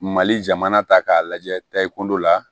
Mali jamana ta k'a lajɛ tayi kun dɔ la